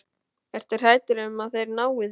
Ertu hræddur um að þeir nái þér?